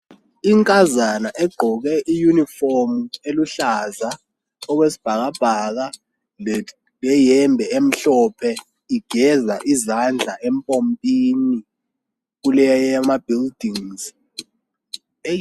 Inkazana egqoke i uniform eluhlaza okwesibhakabhaka leyembe emhlophe igeza izandla epompini kule zakhiwo